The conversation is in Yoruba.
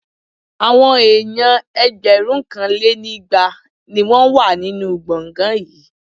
Àwọn èèyàn ẹgbẹ̀rúnkanlénígba ni wọ́n wà nínú gbọ̀ngán náà